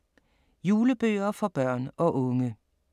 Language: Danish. Julebøger for børn og unge